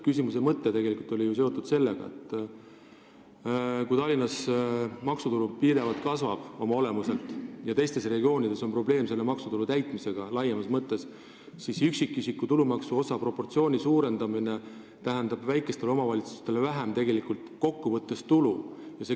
Küsimuse mõte oli tegelikult see, et kui Tallinnas maksutulu pidevalt kasvab ja teistes regioonides on probleeme maksutulu laekumisega laiemas mõttes, siis tähendab üksikisiku tulumaksu osa suurendamine väikestele omavalitsustele kokku võttes vähem tulu.